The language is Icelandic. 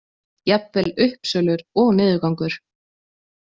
Jafnvel uppsölur og niðurgangur.